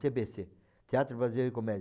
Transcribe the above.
tê bê cê, Teatro Brasileiro de Comédia.